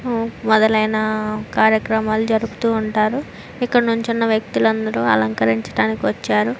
ఉ మొదలైన కార్యక్రమాలు జరుపుతూ ఉంటారు. ఇక్కడ నించున్న వ్యక్తులందరూ అలంకరించడానికి వచ్చారు.